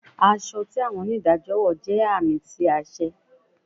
Aṣọ ti awọn onidajọ wọ jẹ aami ti aṣẹ